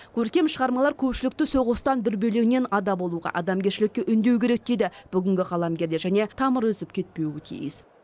көркем шығармалар көпшілікті соғыстан дүрбелеңнен ада болуға адамгершілікке үндеуі керек дейді бүгінгі қаламгерлер және тамыр үзіп кетпуі тиіс